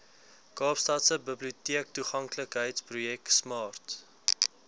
kaapstadse biblioteektoeganklikheidsprojek smart